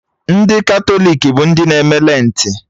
Ndị Katọlik bụ ndị na-eme Lentị